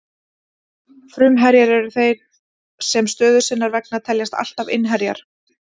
Fruminnherjar eru þeir sem stöðu sinnar vegna teljast alltaf innherjar.